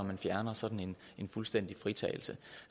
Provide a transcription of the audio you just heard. man fjerner sådan en fuldstændig fritagelse